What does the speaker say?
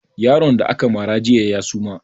Yaron da ka mara jiya ya suma